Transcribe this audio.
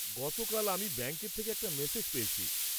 গতকাল আমি ব্যাংকের থেকে একটা মেসেজ পেয়েছি।